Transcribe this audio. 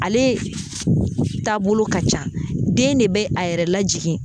Ale taabolo ka ca den de bɛ a yɛrɛ lajigin